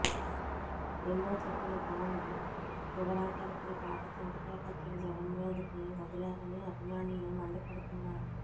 ఎన్నో చెప్పిన పవన్ చివరాఖరికి పాత చింతకాయ పచ్చడి జనం మీదకి వదిలారని అభిమానులు మండిపడుతున్నారు